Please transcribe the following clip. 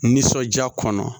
Nisɔndiya kɔnɔ